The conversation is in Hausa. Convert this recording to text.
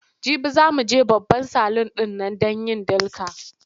Jibi za mu je babban salun ɗin nan don yin dilka.